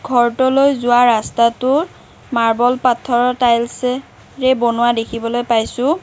ঘৰটোলৈ যোৱা ৰাস্তাটোৰ মাৰ্বল পাত্থৰৰ তাইলছে ৰে বনোৱা দেখিবলৈ পাইছোঁ।